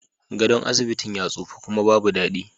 Gadon asibitin ya tsufa kuma babu dadi